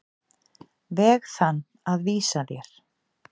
veg þann að vísa þér.